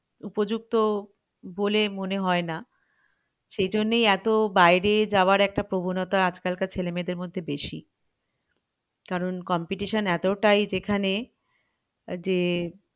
উপযুক্ত বলে মনে হয়না সেইজন্যেই এতো বাইরে যাওয়ার একটা প্রবনতা আজকাল কার ছেলে মেয়েদের মধ্যে বেশি কারন competition এতটাই যেখানে যে